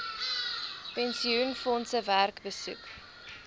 pensioenfondse werk besoek